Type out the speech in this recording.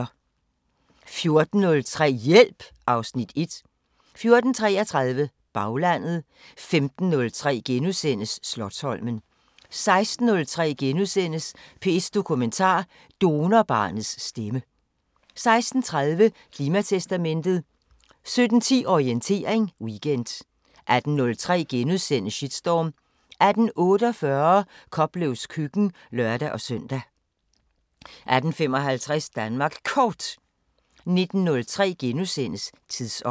14:03: Hjælp (Afs. 1) 14:33: Baglandet 15:03: Slotsholmen * 16:03: P1 Dokumentar: Donorbarnets stemme * 16:30: Klimatestamentet 17:10: Orientering Weekend 18:03: Shitstorm * 18:48: Koplevs køkken (lør-søn) 18:55: Danmark Kort 19:03: Tidsånd *